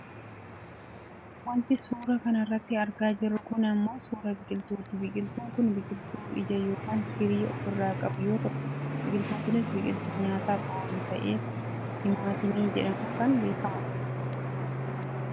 Wanti nuti suuraa kanarratti argaa jirru kun ammoo suuraa biqiltuuti. Biqiltuun kun biqiltuu ija yookaan firii ofirraa qabu yoo ta'u, biqiltuun kunis biqiltuu nyaataaf oolu ta'ee timaatimii jedhamuun kan beekkamudha.